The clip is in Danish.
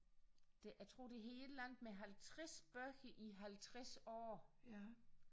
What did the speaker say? Det jeg tror det hed et eller andet med 50 bøger i 50 år